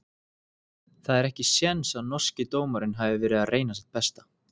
Það er ekki séns að norski dómarinn hafi verið að reyna sitt besta.